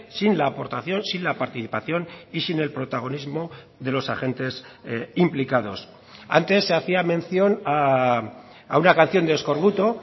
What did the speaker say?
sin la aportación sin la participación y sin el protagonismo de los agentes implicados antes se hacía mención a una canción de eskorbuto